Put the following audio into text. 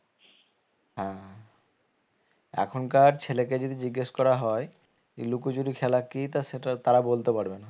হ্যাঁ এখনকার ছেলেকে যদি জিজ্ঞেস করা হয়ে যে লুকোচুরি খেলা কি তা সেটা তারা বলতে পারবে না